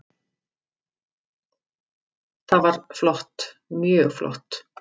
Það var flott, mjög flott.